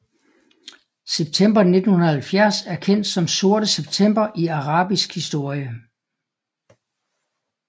September 1970 er kendt som Sorte September i arabisk historie